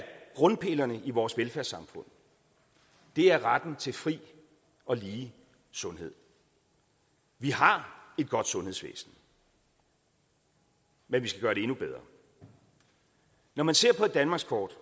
grundpillerne i vores velfærdssamfund er retten til fri og lige sundhed vi har et godt sundhedsvæsen men vi skal gøre det endnu bedre når man ser på et danmarkskort